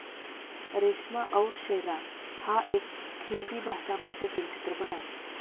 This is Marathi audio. रेश्मा और शेरा हा एक हिंदी भाषा भाषेतील चित्रपट आहे.